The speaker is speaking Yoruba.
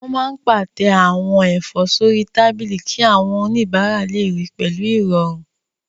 Wọ́n máa n pàtẹ àwọn ẹ̀fọ́ sórí tábìlì kí àwọn oníbàárà lè ríi pẹ̀lú ìrọ̀rùn